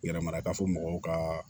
Yɛrɛmaraka fɔ mɔgɔw ka